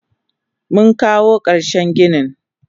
Munkawo karshen ginin.